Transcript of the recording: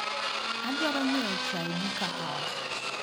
Adwaro nyiewo chai gi kahawa.